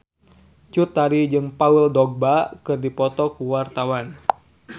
Cut Tari jeung Paul Dogba keur dipoto ku wartawan